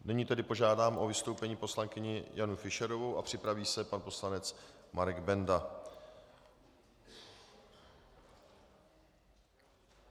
Nyní tedy požádám o vystoupení poslankyni Janu Fischerovou a připraví se pan poslanec Marek Benda.